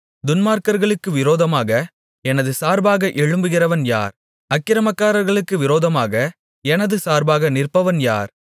துன்மார்க்கர்களுக்கு விரோதமாக எனது சார்பாக எழும்புகிறவன் யார் அக்கிரமக்காரர்களுக்கு விரோதமாக எனது சார்பாக நிற்பவன் யார்